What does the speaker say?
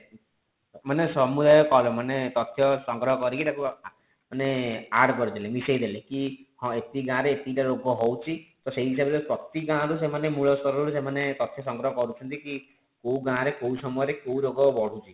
ମାନେ ସମୁଦାୟ ମାନେ ତଥ୍ୟ ସଂଗ୍ରହ କରିକି ତାକୁ ମାନେ add କରିଦେଲେ ମାନେ ମିସେଇ ଦେଲେ କି ହଁ ଏତିକି ଗାଁ ରେ ଏତିକି ଟା ରୋଗ ହୋଉଛି ତ ସେଇ ହିସାବ ରେ ପ୍ରତି ଗାଁ ରୁ ସେମାନେ ମୂଳ ସ୍ତର ରୁ ସେମାନେ ତଥ୍ୟ ସଂଗ୍ରହ କରୁଛନ୍ତି କି କୋଉ ଗାଁ ରେ କୋଉ ସମୟ ରେ କୋଉ ରୋଗ ବଢୁଛି